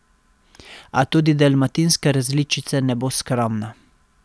A tudi dalmatinska različica ne bo skromna.